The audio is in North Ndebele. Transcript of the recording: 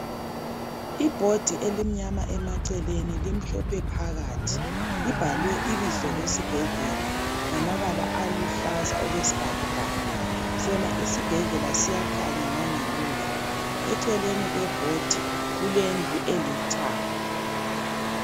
Ibhodi elimnyama emaceleni. Limhlophe phakathi. Libhalwe ibizo lesibhedlela, ngamabala aluhlaza, okwesibhakabhaka. Sona isibhedlela, siyakhanya, ngangemuva. Eceleni kwebhodi, kulendlu, elithanga.